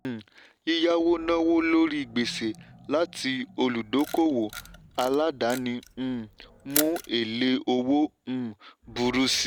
um yíyáwó náwó lórí gbèsè láti olùdókòwò aládàáni um mú èlé owó um burú síi.